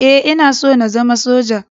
E, Ina so na zama Soja.